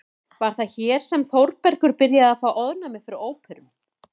Var það hér sem Þórbergur byrjaði að fá ofnæmi fyrir óperum?